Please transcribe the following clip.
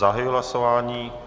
Zahajuji hlasování.